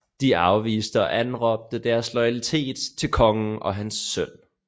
De afviste og anråbte deres loyalitet til kongen og hans søn